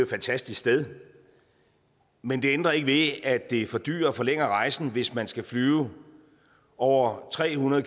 fantastisk sted men det ændrer ikke ved at det fordyrer og forlænger rejsen hvis man skal flyve over tre hundrede